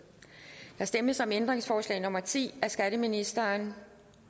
der stemmes om ændringsforslag nummer ti af skatteministeren